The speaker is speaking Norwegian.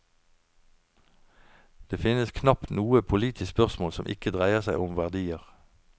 Det finnes knapt noe politisk spørsmål som ikke dreier seg om verdier.